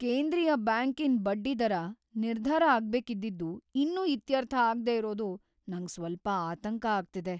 ಕೇಂದ್ರೀಯ ಬ್ಯಾಂಕಿನ್ ಬಡ್ಡಿದರ ನಿರ್ಧಾರ ಆಗ್ಬೇಕಿದ್ದಿದ್ದು ಇನ್ನೂ ಇತ್ಯರ್ಥ ಆಗ್ದೇ ಇರೋದು ನಂಗ್ ಸ್ವಲ್ಪ ಆತಂಕ ಆಗ್ತಿದೆ.